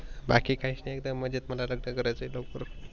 बाकी काहीच नाही एकदम मजेत मला लग्नान करायेच लवकर.